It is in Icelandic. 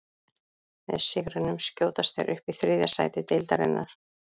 Með sigrinum skjótast þeir upp í þriðja sæti deildarinnar.